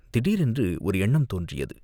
திடீரென்று ஒரு எண்ணம் தோன்றியது.